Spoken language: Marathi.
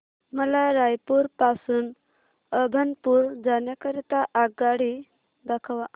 मला रायपुर पासून अभनपुर जाण्या करीता आगगाडी दाखवा